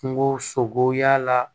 Kungo sogo y'a la